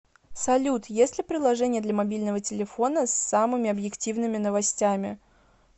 салют есть ли приложение для мобильного телефона с самыми объективными новостями